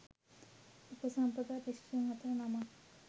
උපසම්පදා භික්ෂූන් සතර නමක්